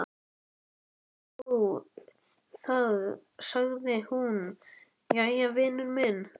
Þegar Magnús sá það sagði hann: Jæja, vinur minn.